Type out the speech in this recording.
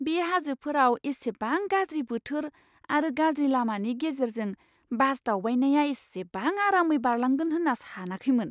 बे हाजोफोराव इसेबां गाज्रि बोथोर आरो गाज्रि लामानि गेजेरजों बास दावबायनाया एसेबां आरामै बारलांगोन होनना सानाखैमोन!